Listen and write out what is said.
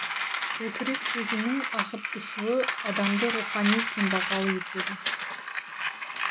көкірек көзінің ағып түсуі адамды рухани кембағал етеді